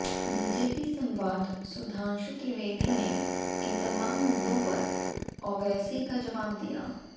BJP संवाद सुधांशु त्रिवेदी ने इन तमाम मुद्दों पर ओवैसी को जवाब दिया